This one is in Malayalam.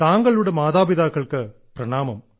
താങ്കളുടെ മാതാപിതാക്കൾക്ക് പ്രണാമം